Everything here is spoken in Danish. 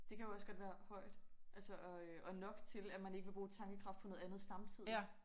Det kan jo også godt være højt altså og øh og nok til at man ikke vil bruge tankekraft på andet samtidigt